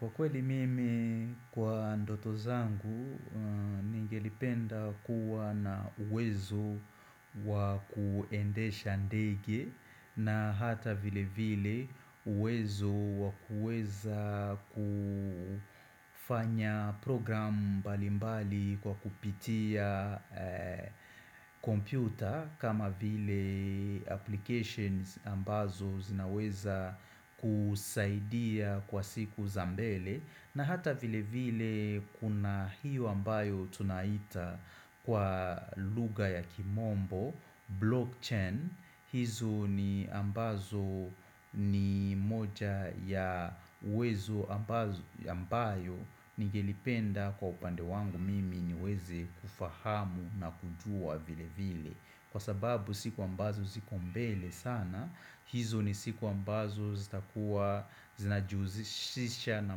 Kwa kweli mimi kwa ndoto zangu, ningelipenda kuwa na uwezo wakuendesha ndege na hata vile vile uwezo wakuweza kufanya program mbalimbali kwa kupitia kompyuta kama vile applications ambazo zinaweza kusaidia kwa siku za mbele, na hata vile vile kuna hiyo ambayo tunaita kwa lugha ya kimombo Blockchain, hizo ni ambazo ni moja ya uwezo ambayo ningelipenda kwa upande wangu mimi niweze kufahamu na kujua vile vile, kwa sababu siku ambazo ziku mbele sana hizo ni siku ambazo zitakuwa zinajihusisha na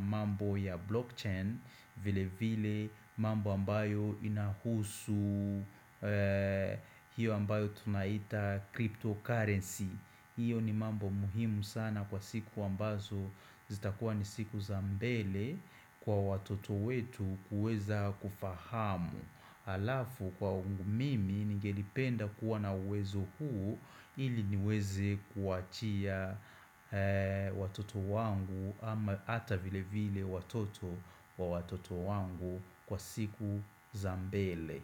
mambo ya blockchain vile vile mambo ambayo inahusu hiyo ambayo tunaita cryptocurrency Iyo ni mambo muhimu sana kwa siku ambazo zitakuwa ni siku za mbele kwa watoto wetu kuweza kufahamu. Alafu kwa mimi ningelipenda kuwa na uwezo huu ili niweze kuachia Watoto wangu ama ata vile vile watoto wa watoto wangu kwa siku za mbele.